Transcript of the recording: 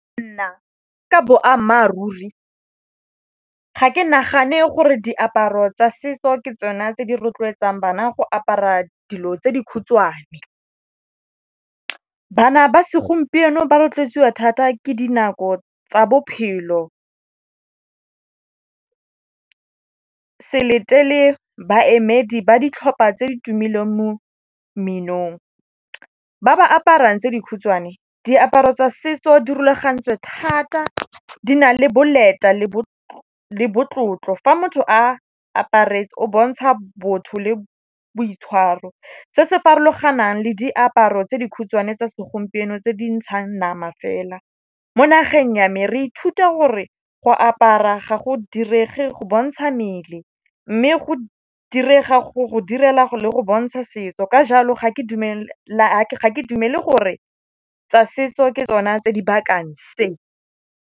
Nna ka boammaaruri ga ke nagane gore diaparo tsa setso ke tsona tse di rotloetsang bana go apara dilo tse dikhutshwane. Bana ba segompieno ba rotloetsiwa thata ke dinako tsa bophelo. Se letele baemedi ba ditlhopha tse ditumileng mo mminong, ba ba aparang tse dikhutshwane diaparo tsa setso di rulagantswe thata. Di na le boleta le bo tlotlo, fa motho a aparetswe o bontsha botho le boitshwaro. Se se farologanang le diaparo tse dikhutshwane tsa segompieno tse di ntshang nama fela. Mo nageng ya me re ithuta gore go apara ga go direge go bontsha mmele mme go direga go go direla le go bontsha setso. Ka jalo ga ke dumele gore tsa setso ke tsona tse dibakang se.